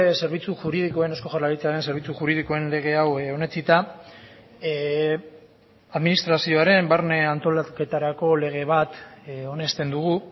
zerbitzu juridikoen eusko jaurlaritzaren zerbitzu juridikoen lege hau onetsita administrazioaren barne antolaketarako lege bat onesten dugu